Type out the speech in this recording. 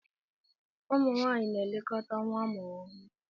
Ụmụ nwaanyị na-elekọta nwa amụrụ ọhụrụ.